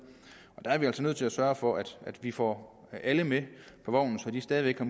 der er vi altså nødt til at sørge for at vi får alle med på vognen så de stadig væk har